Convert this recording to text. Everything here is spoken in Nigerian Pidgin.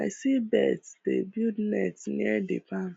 i see birds dey build nests near the barn